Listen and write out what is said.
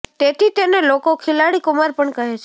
તેથી તેને લોકો ખિલાડી કુમાર પણ કહે છે